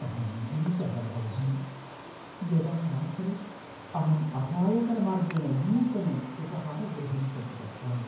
अहं भीतः भवामि यदा रात्रौ अहं अपायकरमार्गेण नूतनम् उपाहारगृहं प्रति गच्छामि।